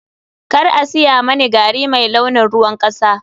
Kar a saya mani gari mai launin ruwan kasa.